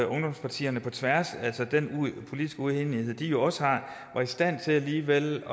ungdomspartierne på tværs af den politiske uenighed de jo også har var i stand til alligevel at